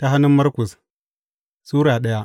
Markus Sura daya